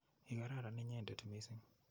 Ikararan inyendet missing'.